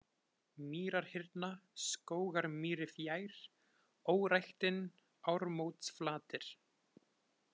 Mýrarhyrna, Skógarmýri fjær, Óræktin, Ármótsflatir